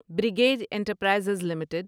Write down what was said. brigade enterprises limited